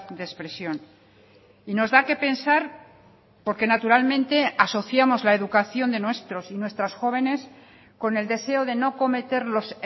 de expresión y nos da qué pensar porque naturalmente asociamos la educación de nuestros y nuestras jóvenes con el deseo de no cometer los